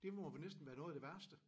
Det må vel næsten være noget af det værste